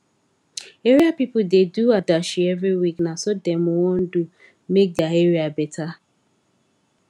area pipu da do adashi every week na so dem wan do make dia area better